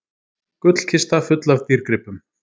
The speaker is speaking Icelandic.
Gullkista full af dýrgripum